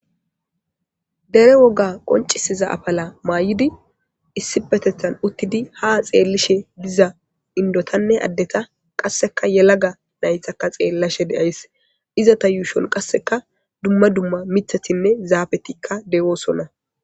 dere woga qoncisiza afala maay7idi issipetethan uttidi ha xeellishe diza indotanne addeta qasseka yelaga naythakka xeellashe deays izata yuushon qasseka dumma dumma mithathinne zaabetikka dewoosonna